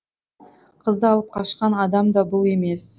қызды алып қашқан адам да бұл емес